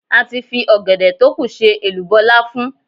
A ti fi ọ̀gẹ̀dẹ̀ tókù ṣe èlùbọ́ láfún.